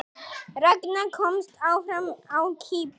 Ragna komst áfram á Kýpur